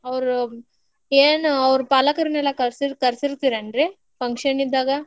ಅವ್ರ್ ಏನ್ ಅವ್ರ್ ಪಾಲಕರ್ನೆಲ್ಲಾ ಕರ್ಸ~ ಕರ್ಸಿರ್ತಿರೇನ್ರಿ function ಇದ್ದಾಗ.